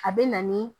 A bɛ na ni